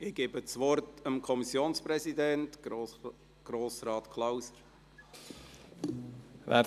Ich gebe das Wort dem Kommissionspräsidenten, Grossrat Klauser.